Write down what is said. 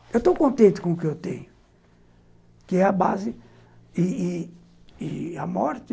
Eu estou contente com o que eu tenho, que é a base e e e a morte.